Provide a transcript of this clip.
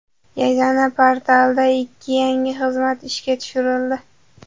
Yagona portalda ikkita yangi xizmat ishga tushirildi.